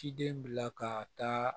Ciden bila ka taa